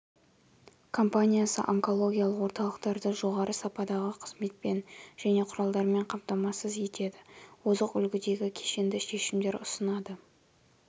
компаниясы онкологиялық орталықтарды жоғары сападағы қызметпен және құралдармен қамтамасыз етеді озық үлгідегі кешенді шешімдер ұсынады